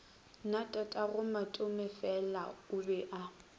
na tatagomatomefela o be a